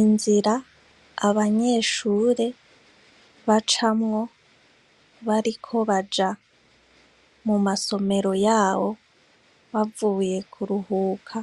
Inzir'abanyeshure bacamwo bariko baja mu masomero yabo, bavuye kuruhuka